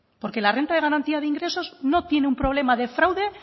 porque la renta de garantía de ingresos no tiene un problema de fraude